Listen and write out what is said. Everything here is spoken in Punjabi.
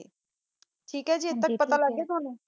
ਤੀਕ ਆ ਗੀ ਪਤਾ ਲਾਗ ਗਯਾ ਆ ਟੋਨੋ